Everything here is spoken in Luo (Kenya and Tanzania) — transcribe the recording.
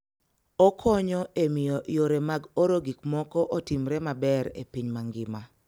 Okonyo e miyo yore mag oro gik moko otimre maber e piny mangima.